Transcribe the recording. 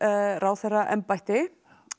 ráðherraembætti